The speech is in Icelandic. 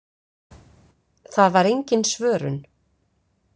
Það var engin svörun.